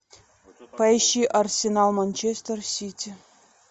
поищи арсенал манчестер сити